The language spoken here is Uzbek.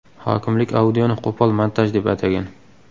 Hokimlik audioni qo‘pol montaj deb atagan .